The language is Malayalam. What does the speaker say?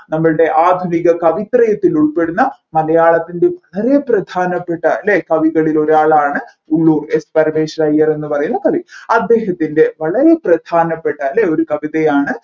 നമ്മൾടെ ആധുനിക കവിത്രയത്തിൽ ഉൾപ്പെടുന്നമലയാളത്തിൻെറ വളരെ പ്രധാനപ്പെട്ട അല്ലെ കവികളിൽ ഒരാളാണ് ഉള്ളൂർ S പരമേശ്വരയ്യർ എന്ന് പറയുന്ന കവി അദ്ദേഹത്തിൻറെ വളരെ പ്രധാനപ്പെട്ട അല്ലെ ഒരു കവിതയാണ്